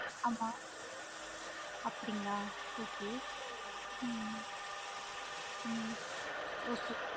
ஆமா அப்படிங்களா okay ஹம் உம் okay mam